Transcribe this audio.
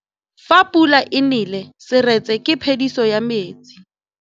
Fa pula e nelê serêtsê ke phêdisô ya metsi.